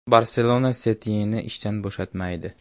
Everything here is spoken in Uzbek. “Barselona” Setyenni ishdan bo‘shatmaydi.